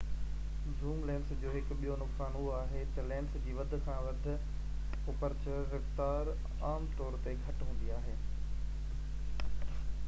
zoom lenses جو هڪ ٻيو نقصان اهو آهي ته لينس جي وڌ کان وڌ اپرچر رفتار عام طور تي گهٽ هوندي آهي